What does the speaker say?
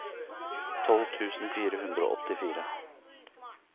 tolv tusen fire hundre og åttifire